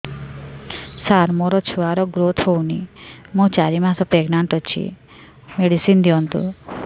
ସାର ମୋର ଛୁଆ ର ଗ୍ରୋଥ ହଉନି ମୁ ଚାରି ମାସ ପ୍ରେଗନାଂଟ ଅଛି ମେଡିସିନ ଦିଅନ୍ତୁ